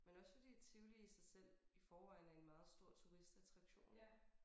Men også fordi Tivoli i sig selv i forvejen er en meget stor turistattraktion ik